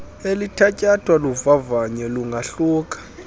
elithatyathwa luvavanyo lungahluka